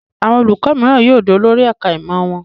Àwọn olùkọ́ní mìíràn yóò di olórí ẹ̀ka-ìmọ̀ wọn.